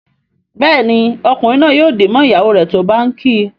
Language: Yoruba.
Béèni Ọkunrin naa yóò dì mọ ìyàwó rẹ tó bá ǹ kí.